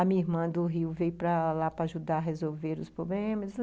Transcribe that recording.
A minha irmã do Rio veio para lá para ajudar a resolver os problemas.